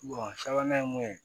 sabanan ye mun ye